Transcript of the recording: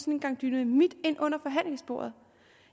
en gang dynamit ind under forhandlingsbordet